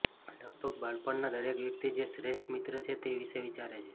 લગભગ બાળપણના દરેક વ્યક્તિ જે શ્રેષ્ઠ મિત્ર છે તે વિશે વિચારે છે